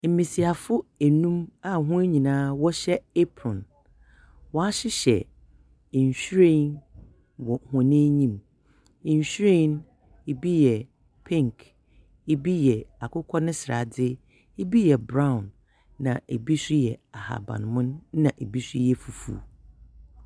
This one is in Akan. Mbasiafo enum a hɔn nyina wɔhyɛ apron, wɔahyehyɛ nhyiren wɔ hɔn enyim, nhyiren no bi yɛ pink, bi yɛ akokɔ ne sradze, bi yɛ brown, na bi so yɛ ahabanmon na bi so yɛ fufuw.